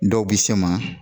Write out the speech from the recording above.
Dɔw bi se ma